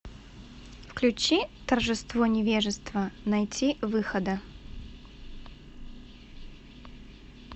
включи торжество невежества найтивыхода